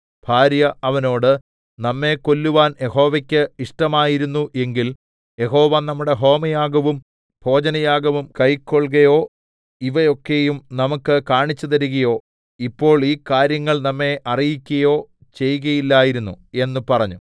ഭാര്യ അവനോട് നമ്മെ കൊല്ലുവാൻ യഹോവയ്ക്ക് ഇഷ്ടമായിരുന്നു എങ്കിൽ യഹോവ നമ്മുടെ ഹോമയാഗവും ഭോജനയാഗവും കൈക്കൊൾകയോ ഇവ ഒക്കെയും നമുക്ക് കാണിച്ചുതരികയോ ഇപ്പോൾ ഈ കാര്യങ്ങൾ നമ്മെ അറിയിക്കയോ ചെയ്കയില്ലായിരുന്നു എന്ന് പറഞ്ഞു